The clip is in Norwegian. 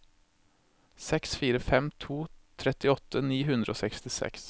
seks fire fem to trettiåtte ni hundre og sekstiseks